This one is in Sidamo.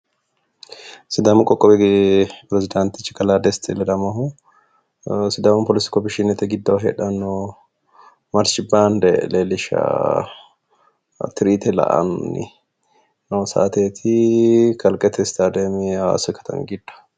Sidaamu qoqqowi perezidantichi kalaa Desti ledamohu sidaamu police commission giddoo heedhanoo marshi baande leellishshawo tirite la''anni noo saateeti kalqete stadiyeme hawaasi katami giddo.